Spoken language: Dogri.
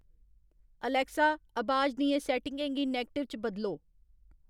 अलैक्सा, अबाज दियें सैट्टिंगें गी नैगटिव च बदलो